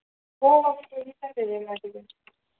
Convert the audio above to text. हो केलेला